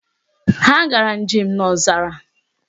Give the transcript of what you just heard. Ha gara njem n'ọzara